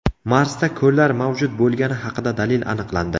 Marsda ko‘llar mavjud bo‘lgani haqida dalil aniqlandi.